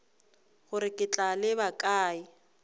gore ke tla leba kae